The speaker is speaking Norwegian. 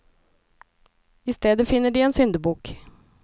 I stedet finner de en syndebukk.